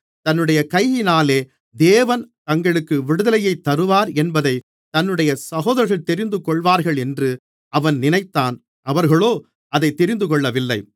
தன்னுடைய கையினாலே தேவன் தங்களுக்கு விடுதலையைத் தருவார் என்பதைத் தன்னுடைய சகோதரர்கள் தெரிந்துகொள்வார்களென்று அவன் நினைத்தான் அவர்களோ அதை தெரிந்துகொள்ளவில்லை